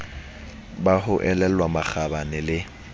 ba ho elellwa makgabane le